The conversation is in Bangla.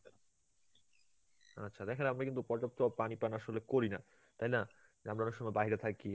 আচ্ছা, দেখেন আমরা কিন্তু পর্যাপ্ত পানি পান আসলে করি না, তাইনা, আমরা অনেক সময় বাহিরে থাকি.